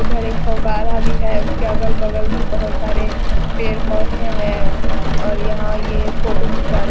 उधर एक फवारा भी है उसके अगल-बगल भी बहुत सारे पेड़-पौधे भी है और यहाँ ये फोटो घिंचवा रहे --